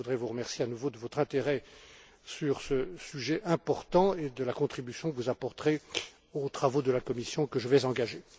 Je voudrais vous remercier à nouveau de votre intérêt sur ce sujet important et de la contribution que vous apporterez aux travaux de la Commission que je vais engager.